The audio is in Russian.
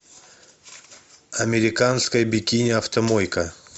американская бикини автомойка